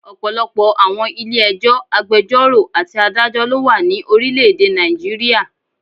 Ọ̀pọ̀lọpọ̀ àwọn Ilé ẹjọ́, agbẹjọ́rò àti adájọ́ lo wa ni orílẹ̀ èdè Nàìjíríà